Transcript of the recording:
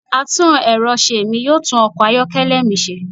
atún erọ̀ se mí, yoo tun ọkọ ayọkẹlẹ mi ṣe.